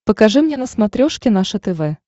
покажи мне на смотрешке наше тв